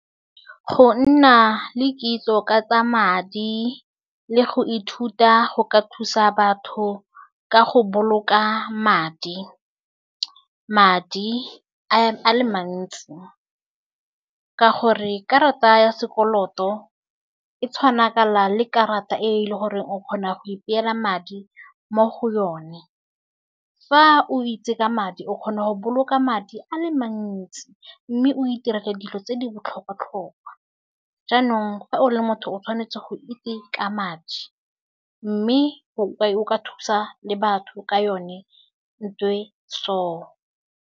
Go nna le kitso ka tsa madi le go ithuta go ka thusa batho ka go boloka madi. Madi a a le mantsi, ka gore karata ya sekoloto e tshwana kana le karata e e leng gore o kgona go ipeela madi mo go yone. Fa o itse ka madi, o kgona go boloka madi a le mantsi mme o iterela dilo tse di botlhokwa-tlhokwa. Jaanong, fa o le motho, o tshwanetse go itse ka madi mme o ka thusa le batho ka yone ntho e so.